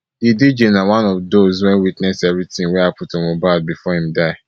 di dj na one of dose wey witness evritin wey happun to mohbad bifor im die